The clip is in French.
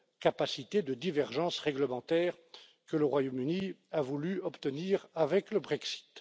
capacité de divergence réglementaire que le Royaume Uni a voulu obtenir avec le Brexit.